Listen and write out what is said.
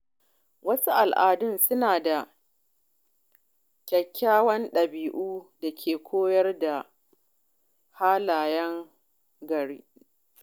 Wasu al’adun suna da kyawawan dabi’u da ke koyar da halayen gari.